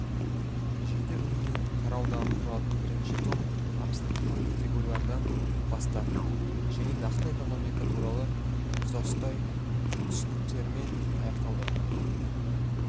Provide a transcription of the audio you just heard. жеті бөлімнен тараудан тұратын бірінші том абстрактылық категориялардан бастап және нақты экономика туралы тұтастай түсініктермен аяқталды